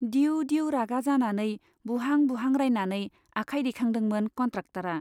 दिउ दिउ रागा जानानै बुहां बुहां रायनानै आखाय दैखांदोंमोन कन्ट्राक्टरा।